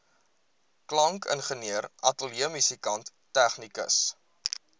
klankingenieur ateljeemusikant tegnikus